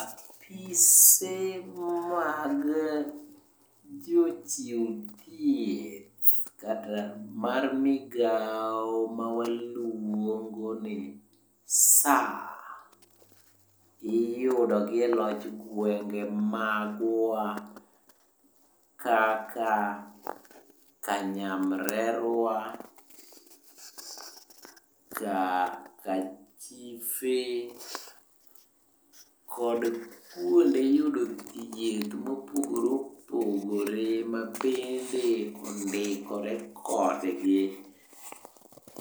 Apise mag jochiw thieth kata mar migao mawaluongo ni SHA, iyudo gi e loch gwenge magwa kaka; kanyamrerwa, kachife, kod kuonde yudo thieth mopogore opogore mabende ondikore kodgi